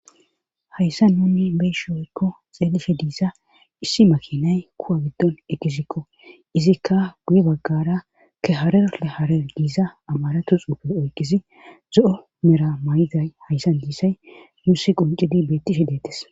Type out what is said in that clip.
hayssan nunni be7ishin woykko xeelishe diiza issi makinay kuwa giddon egisikko izikka guye baggara ke harer le harer giza amaratu xuufe oyqizi zo7o mera mayiday hayssan dizay nuussi qunccidi beettishe dettes.